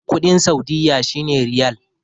kudin saudiyya shi ne riyal